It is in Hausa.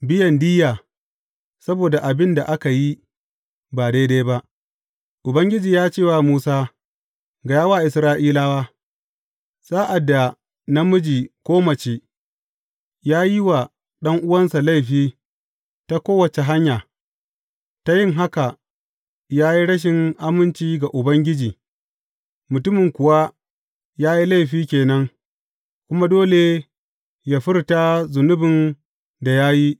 Biyan diyya saboda abin da aka yi ba daidai ba Ubangiji ya ce wa Musa, Gaya wa Isra’ilawa, Sa’ad da namiji ko mace ya yi wa ɗan’uwansa laifi ta kowace hanya, ta yin haka, ya yi rashin aminci ga Ubangiji, mutumin kuwa ya yi laifi ke nan kuma dole yă furta zunubin da ya yi.